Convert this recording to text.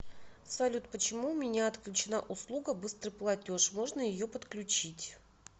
салют почему у меня отключена услуга быстрый платеж можно ее подключить